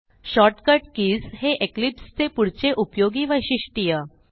shortcut keys हे Eclipse चे पुढचे उपयोगी वैशिष्ट्य